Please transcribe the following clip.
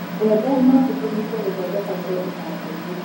mbembe no citũmĩke gũthondeka indũ iganda-ini